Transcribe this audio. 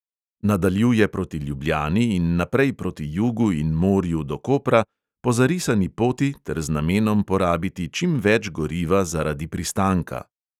Nadaljuje proti ljubljani in naprej proti jugu in morju do kopra, po zarisani poti ter z namenom porabiti čim več goriva zaradi pristanka.